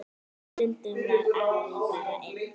Stundum var afi bara einn.